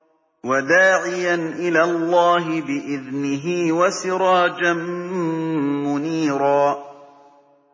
وَدَاعِيًا إِلَى اللَّهِ بِإِذْنِهِ وَسِرَاجًا مُّنِيرًا